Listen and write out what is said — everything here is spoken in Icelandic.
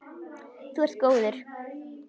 Þú ert góður.